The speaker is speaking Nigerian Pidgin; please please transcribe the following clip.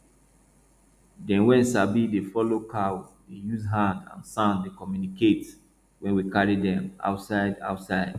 dem wey sabi dey follow cow dey use hand and sound dey communicate when we carry dem outside outside